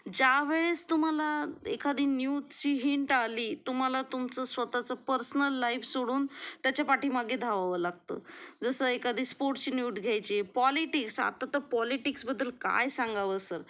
जा वेळेस तुम्हाला एखादी न्यूजची हिंट अली तुम्हाला तुमचं स्वतःचं पर्सनल लाइफ सोडून त्याच्या पाठीमागे धावावं लागतो जसं एखादी स्पोर्ट्स न्यूज घ्यायचे पॉलिटिक्स, आता तर पॉलिटिक्स बद्दल काय सांगावं सर